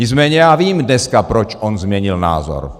Nicméně já vím dneska, proč on změnil názor.